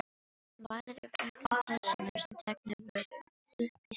Hún vælir yfir öllum pelsunum sem teknir voru uppí skuldir.